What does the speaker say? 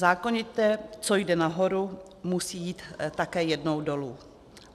Zákonitě, co jde nahoru, musí jít také jednou dolů.